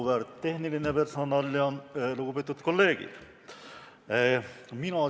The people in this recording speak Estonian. Auväärt tehniline personal ja lugupeetud kolleegid!